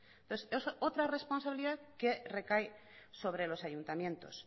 entonces es otra responsabilidad que recae sobre los ayuntamientos